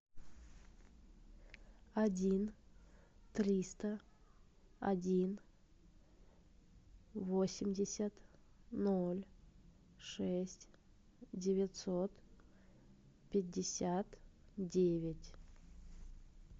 один триста один восемьдесят ноль шесть девятьсот пятьдесят девять